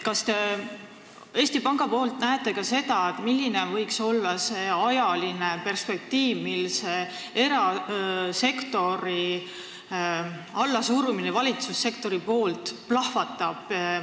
Kas te Eesti Pangas näete ka seda, milline võiks olla see ajaline perspektiiv, kui see erasektori allasurumine valitsussektori poolt plahvatab?